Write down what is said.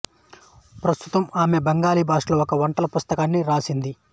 ప్రస్తుతం ఈమె బెంగాలీ భాషలో ఒక వంటల పుస్తకాన్ని వ్రాసింది